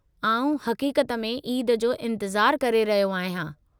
आउं हक़ीक़त में ईद जो इंतिज़ारु करे रहियो आहियां।